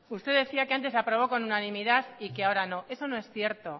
usted decía que antes se aprobó con unanimidad y que ahora no eso no es cierto